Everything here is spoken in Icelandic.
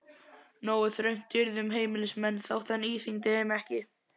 Nógu þröngt yrði um heimilismenn þótt hann íþyngdi þeim ekki.